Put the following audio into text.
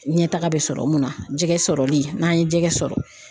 Ɲɛtaga bɛ sɔrɔ mun na , jɛgɛ sɔrɔli n'an ye jɛgɛ sɔrɔ